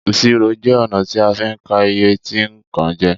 Ìṣirò jẹ ọ̀nà ti a fín ka iye tí nkàn je